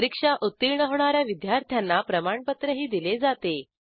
परीक्षा उत्तीर्ण होणा या विद्यार्थ्यांना प्रमाणपत्रही दिले जाते